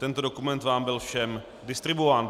Tento dokument vám byl všem distribuován.